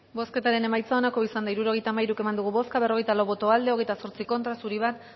bozketaren emaitza onako izan da hirurogeita hamairu eman dugu bozka berrogeita lau boto aldekoa hogeita zortzi contra uno zuri